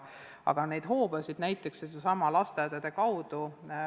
Aga neid hoobasid on, näiteks needsamad lasteaiad.